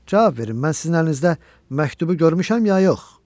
Cavab verin, mən sizin əlinizdə məktubu görmüşəm, ya yox?!